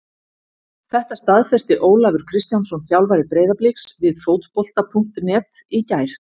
Þetta staðfesti Ólafur Kristjánsson þjálfari Breiðabliks við Fótbolta.net í gær.